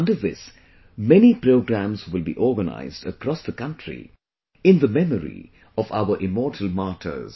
Under this, many programs will be organized across the country in the memory of our immortal martyrs